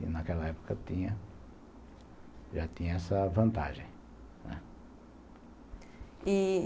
E, naquela época, já tinha essa vantagem, né? E